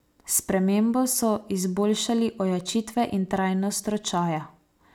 S spremembo so izboljšali ojačitve in trajnost ročaja.